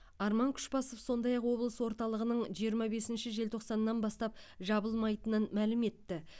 арман күшбасов сондай ақ облыс орталығының жиырма бесінші желтоқсаннан бастап жабылмайтынын мәлім етті